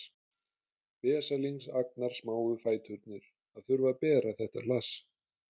Vesalings agnarsmáu fæturnir að þurfa að bera þetta hlass